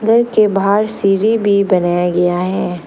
घर के बाहर सीढ़ी भी बनाया गया है।